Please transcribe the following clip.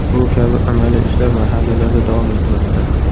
Bu kabi amaliy ishlar mahallalarda davom etmoqda.